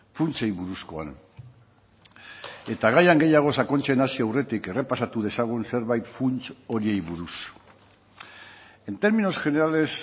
funtsei buruzkoan eta gaian gehiago sakontzen hasi aurretik errepasatu dezagun zerbait funts horiei buruz en términos generales